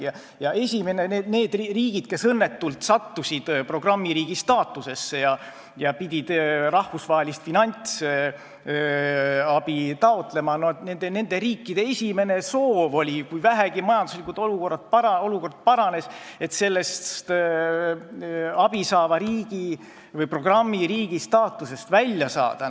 Kui majanduslik olukord vähegi paranes nendes riikides, kes õnnetult sattusid programmiriigi staatusesse ja pidid rahvusvahelist finantsabi taotlema, siis oli nende esimene soov sellest abisaava riigi või programmiriigi staatusest välja saada.